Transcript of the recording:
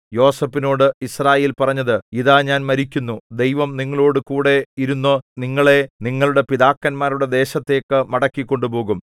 യോസേഫിനോടു യിസ്രായേൽ പറഞ്ഞത് ഇതാ ഞാൻ മരിക്കുന്നു ദൈവം നിങ്ങളോടുകൂടി ഇരുന്നു നിങ്ങളെ നിങ്ങളുടെ പിതാക്കന്മാരുടെ ദേശത്തേക്ക് മടക്കി കൊണ്ടുപോകും